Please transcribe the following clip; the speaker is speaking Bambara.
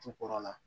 Jukɔrɔla